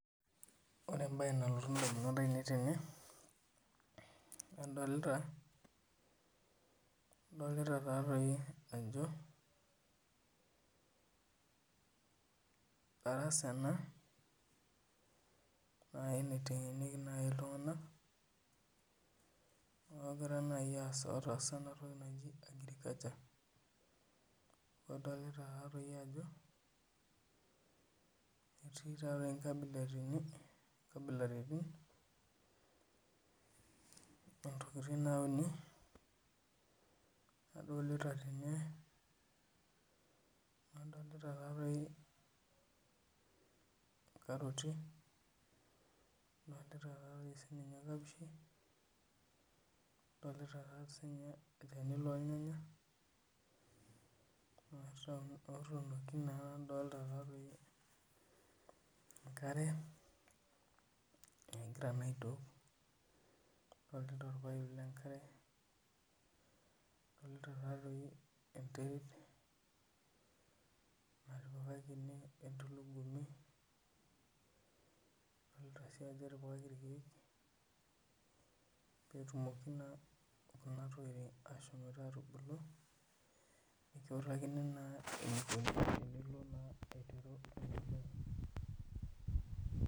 Ore ebae nalotu damunot ainei tene. adolita taa doi ajo darasa ena naitengenieki naaji iltunganak otaasa agriculture adolita taa doi ajo, etii taa doi nkabilaritin. oontokitin nauni. adolita tene. adolita taa doi nkaroti. adolita taa doi nkapishi, olchani loornyanya. adolita enkare. egira naa aitook. olpaip lenkare adolita taadoi enterit entulugumi. adoltia ajoe etipakaki irkeek pee etumoki Kuna tokitin aatubulu. nikiutakini naa eneiko tenilo aiteru. ina siai.